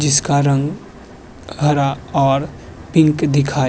जिसका रंग हरा और पिंक दिखाई --